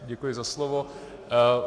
Děkuji za slovo.